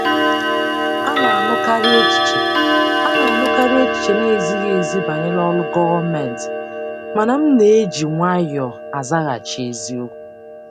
A na-anụkarị echiche A na-anụkarị echiche na-ezighị ezi banyere ọrụ gọọmentị, mana m na-eji nwayọọ azaghachi eziokwu.